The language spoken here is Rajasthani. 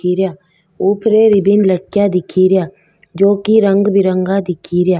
खी रिया ऊपरे रेबिन लटकेया दिखी रिया जो की रंग बिरंगा दिखी रिया।